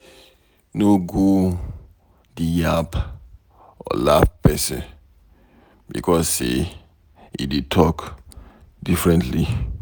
No come go dey yab or laugh pesin becos say e dey talk differently.